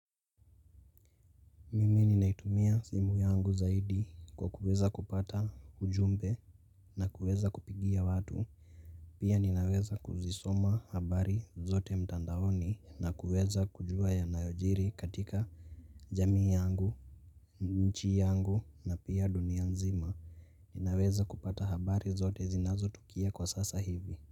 Mimi ninaitumia simu yangu zaidi kwa kuweza kupata ujumbe na kuweza kupigia watu. Pia ninaweza kuzisoma habari zote mtandaoni na kuweza kujua ya nayojiri katika jamii yangu. Nchi yangu na pia dunia nzima ninaweza kupata habari zote zinazo tukia kwa sasa hivi.